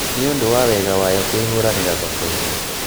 Nĩũndũ wa wega wayo kwĩhũranĩra thokoinĩ